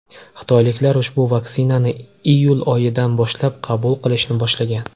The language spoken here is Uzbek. Xitoyliklar ushbu vaksinani iyul oyidan boshlab qabul qilishni boshlagan.